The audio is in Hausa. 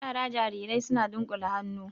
Yara jarirai suna dunƙule hannu